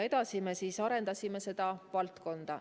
Edasi me arendasime seda valdkonda.